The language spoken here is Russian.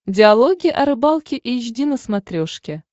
диалоги о рыбалке эйч ди на смотрешке